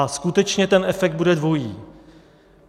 A skutečně ten efekt bude dvojí.